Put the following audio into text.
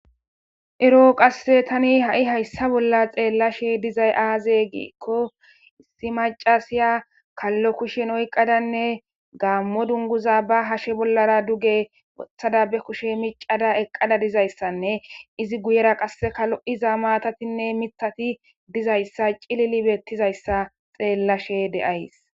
eroo qasse tani ha7i hayssa bolla xeellashe dizay aaze giikko issi macasiya kallo kushen oyqqadanne gaammo dunguza ba hashe bollara duge boththada be kushe micada eqqada dizayssanne izi guyera qasse kalo7iza maatatinne mitati dizayssa cilili beettizayssa xeellashe de7ays